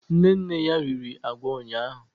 Nne nne ya riri agwa ụnyahụ